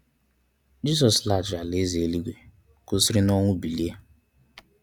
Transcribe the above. Jizọs laghachiri ala eze eluigwe, ka o siri nọnwụ bilie.